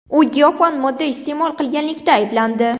U giyohvand modda iste’mol qilganlikda ayblandi.